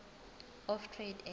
of trade and